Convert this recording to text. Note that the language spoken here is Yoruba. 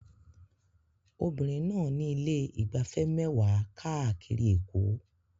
Obìnrin náà ní ilé ìgbafẹ́ mẹ́wàá káàkiri Èkó